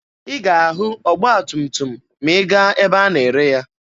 Ị ga-ahụ ọgba tum tum ma ị gaa ebe a na-ere ya.